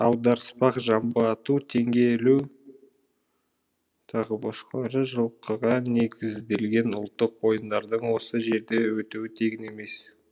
аударыспақ жамбы ату теңге ілу тағы басқа жылқыға негізделген ұлттық ойындардың осы жерде өтуі тегін емес